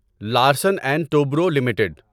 Larsen and Toubro limited